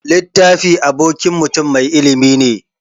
Littafi abokin mutun mai ilimi ne.